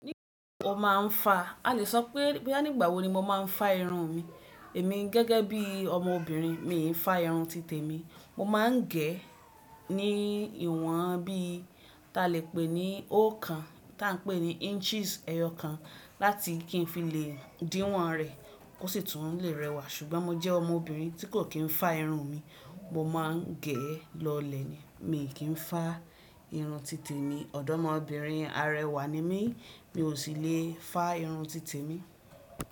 O mo máa ń fá, a leè sọ pé nígbà wo ni mo máa ń fá irun mi. Èmi gẹ́gẹ́ bí ọmọbìnrin, mi i fá irun títè mi. Mo máa ń gẹ̀ ẹ́ ní ìwọ̀n bí ta lè pè ní óòkan tá ń pè ní inches ẹyọ kan láti kí n fi le díwọ̀n rẹ̀ kó sì tún le rẹwà. Ṣùgbọ́n mo jẹ́ ọmọbìnrin tí kò kì í fá irun mi, mo máa ń gẹ̀ ẹ́ lọlẹ̀ ni, mi ò kí ń fá irun títè mi. Ọ̀dọ́mọbìnrin arẹwà ni mí, mi ò sì le fá irun títè mi.